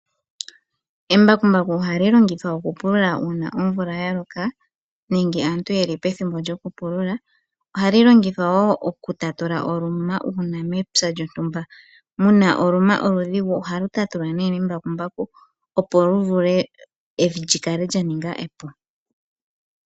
Embakumbaku ohali longithwa okupulula uuna omvula ya loka, nenge aantu yeli pethimbo lyokupulula, ohali longithwa wo okutatula oluma uuna mepya lyontumba muna oluma oludhigu, ohalu tatulwa nee nembakumbaku opo lu vule evi lyi kale lya ninga epu.